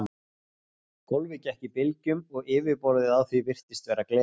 Gólfið gekk í bylgjum og yfirborðið á því virtist vera gler.